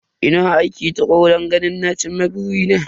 Ina aiki tukuru don ganin na cin ma burina.